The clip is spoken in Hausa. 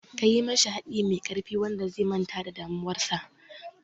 Kayi mishi haɗi mai ƙarfi wanda zai manta da damuwar sa